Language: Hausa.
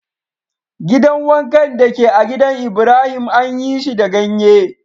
Gidan wankan da ke a'gidan Ibrahim anyi shi da ganye.